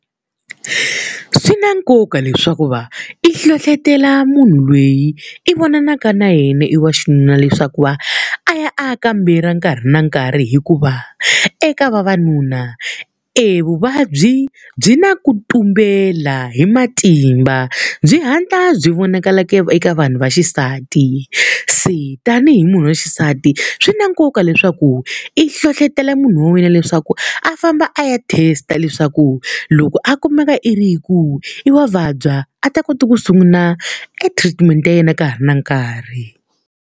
Swi na nkoka leswaku va i hlohletela munhu loyi i vonaka na yena i wa xinuna leswaku va a ya a kambela nkarhi na nkarhi hikuva, eka vavanuna evuvabyi byi na ku tumbela hi matimba, byi hatla byi vonakala eka vanhu va xisati. Se tanihi munhu wa xisati swi na nkoka leswaku i hlohletela munhu wa wena leswaku a famba a ya test-a leswaku, loko a kumeka i ri hi ku i wa vabya, a ta kota ku sungula e-treatment ya yena ka ha ri na nkarhi.